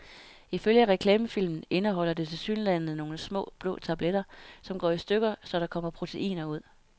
Ifølge reklamefilmen indeholder det tilsyneladende nogle små, blå tabletter, som går i stykker, så der kommer proteiner ud.